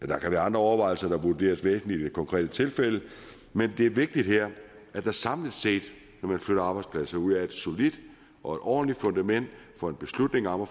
der kan være andre overvejelser som vurderes væsentlige i det konkrete tilfælde men det er vigtigt her at der samlet set når man flytter arbejdspladser ud er et solidt og et ordentligt fundament for en beslutning om at